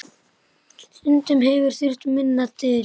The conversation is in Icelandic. Stundum hefur þurft minna til.